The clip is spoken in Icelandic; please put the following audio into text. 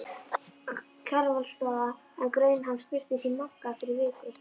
Kjarvalsstaða, en grein hans birtist í Mogga viku fyrr